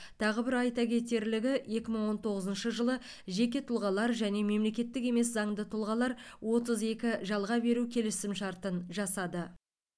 тағы бір айта кетерлігі екі мың он тоғызыншы жылы жеке тұлғалар және мемлекеттік емес заңды тұлғалар отыз екі жалға беру келісімшартын жасады